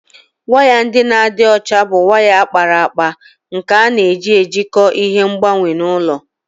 Waya ndị na-adị ọcha bụ waya a kpara akpa nke a na-eji jikọọ ihe ngbanwe na ụlọ